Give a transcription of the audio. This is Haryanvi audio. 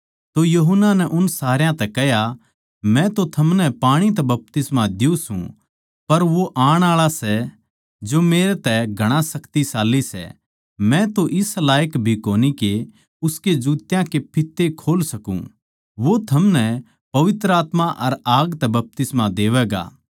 तो यूहन्ना नै उन सारया तै कह्या मै तो थमनै पाणी तै बपतिस्मा दियुँ सूं पर वो आण आळा सै जो मेरै तै घणा शक्तिशाली सै मै तो इस लायक भी कोनी के उसके जुत्या के फित्ते खोल सकूँ वो थमनै पवित्र आत्मा अर आग तै बपतिस्मा देवैगा